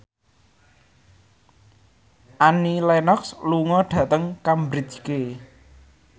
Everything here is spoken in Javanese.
Annie Lenox lunga dhateng Cambridge